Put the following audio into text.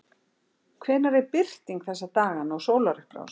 Hvenær er birting þessa dagana og sólarupprás?